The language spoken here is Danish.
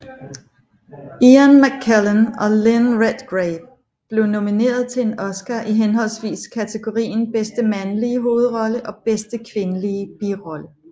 Ian McKellen og Lynn Redgrave blev nomineret til en Oscar i henholdsvis kategorien bedste mandlige hovedrolle og bedste kvindelige birolle